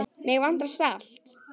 Mig vantar salt.